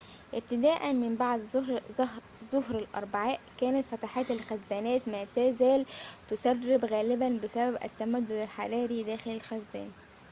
ابتداءً من بعد ظهر الأربعاء كانت فتحات الخزانات ما تزال تسرب غالباً بسبب التمدد الحراري داخل الخزان